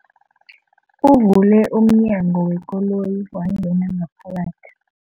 Uvule umnyango wekoloyi wangena ngaphakathi.